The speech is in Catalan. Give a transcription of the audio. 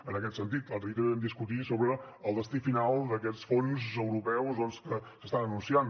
en aquest sentit l’altre dia també vam discutir sobre el destí final d’aquests fons europeus doncs que s’estan anunciant